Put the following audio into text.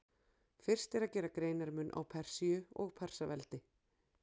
Fyrst er að gera greinarmun á Persíu og Persaveldi.